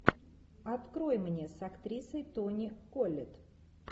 открой мне с актрисой тони коллетт